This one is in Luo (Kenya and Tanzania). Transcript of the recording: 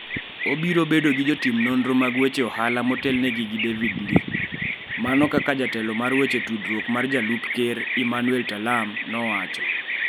Obiro bedo gi jotim nonro mag weche ohala motelnegi gi David Ndii, " mana kaka jatelo mar weche tudruok mar DP, Emmanuel Talam nowacho.